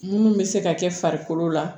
Munnu bɛ se ka kɛ farikolo la